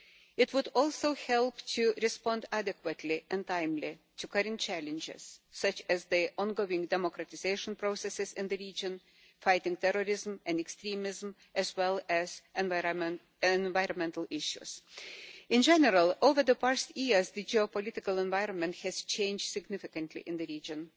It would also help to respond adequately and timely to current challenges such as the ongoing democratisation processes in the region, fighting terrorism and extremism, as well as environmental issues. In general, over the past years the geo political environment has changed significantly in the region.